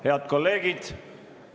Head kolleegid!